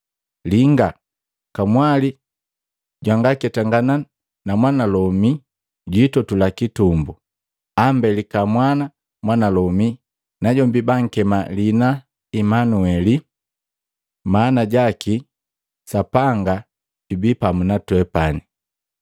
“Linga, kamwali jwanga kuketanga na mwanalomi jwiitotula kitumbu, ambelika mwana mwanalomi, najombi bankema liina la Manueli.” Maana jaki, “Sapanga jubii pamu na twepani.”